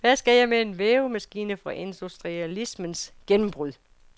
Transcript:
Hvad skal jeg med en vævemaskine fra industrialismens gennembrud?